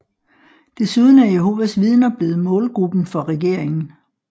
Desuden er Jehovas Vider blevet målgruppen for regeringen